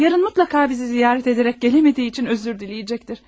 Yarın mütləq bizi ziyarət edərək gələ bilmədiyi üçün üzr diləyəcəkdir.